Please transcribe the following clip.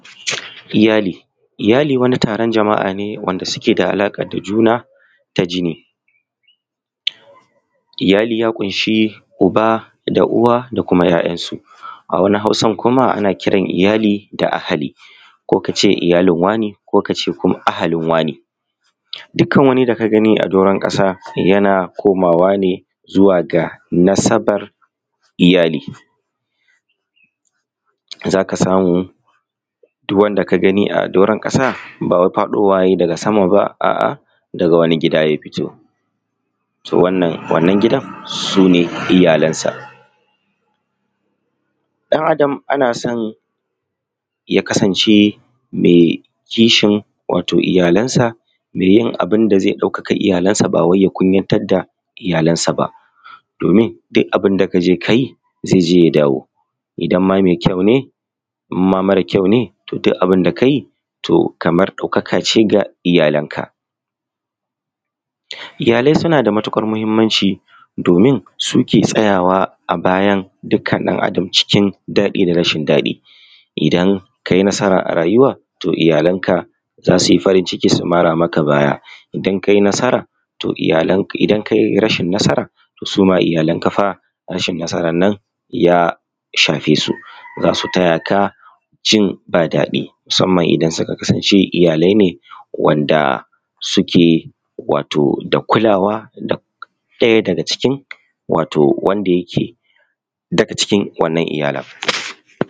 Iyali, iyali wani taron jama'a ne wanda suke da alaƙa da juna ta jini. Iyali ya ƙunshi uba da uwa da dai sauransu. A wani Hausar kuma ana kira iyali da ahli ko ka ce iyali wane ko ahlin wane. Dukkan wani a doran ƙasa yana komawa ne zuwa ga nasabar iyali. Za ka samu duk wanda ka gani a doron ƙasa ba wai faɗowa ya yi daga sama ba daga wani gida ya fito, wannan gidan su ne iyalansa. Ɗan Adam ana son ya kasance mai kishin iyalansa mai yin abu da zai ɗaukaka iyalansa ba wai ya kunyatar da iyalansa ba, domin duk abinda ka je ka yi zai dawo idan ma mai ƙyau ne, idan ma mara ƙyau ne. Duk abun da ka yi ɗaukaka ce ga iyalanka. Iyalai suna da matuƙar muhimmanci, domin suke tsayawa bayan dukkan ɗan Adam da cikin daɗi da rashin daɗi, idan ka yi nasara a rayuwa iyalanka za su yi farin ciki su mara maka baya, idan ka yi rashin nasara to suma iyalanka fa rashin nasarar nan shafe su, za su tayanka jin ba daɗi. Musamman Idan suka kasance iyalai ne dake wato kulawa ɗaya daga cikin wato wanda yake daga cikin wannan iyalan.